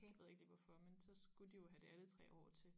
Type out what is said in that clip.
Jeg ved ikke lige hvorfor men så skulle de jo have det alle 3 år til